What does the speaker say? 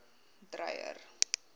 dreyer